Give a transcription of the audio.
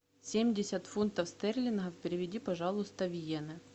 семьдесят фунтов стерлингов переведи пожалуйста в йены